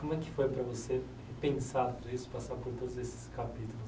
Como é que foi para você pensar tudo isso, passar por todos esses capítulos?